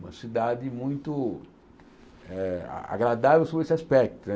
Uma cidade muito eh a agradável sobre esse aspecto né.